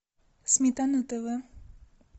сметана тв